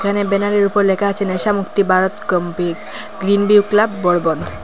এখানে ব্যানার -এর উপর লেকা আছে ন্যেশা মুক্তি ভারত গ্রীন ভিউ ক্লাব বরবন্ধ ।